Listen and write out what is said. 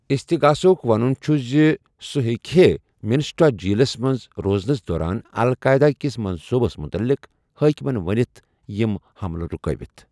استغاسہٕ ہٗك ونٗن چھٗ زِ سوٗ ہیكہے مِنِسوٹا جیلس منز روزنس دوران القاعدہ كِس منصوُبس مٗتعلق حٲكَمن ونِتھ یِم ہملہٕ رٗكٲوِتھ ۔